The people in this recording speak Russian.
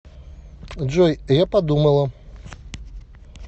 джой я подумала